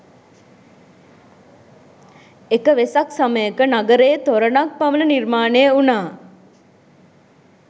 එක වෙසක් සමයක නගරයේ තොරණ ක් පමණ නිර්මාණය වුණා